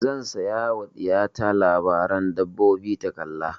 Zan saya ma ɗiya ta labaren dabbobi ta kalla.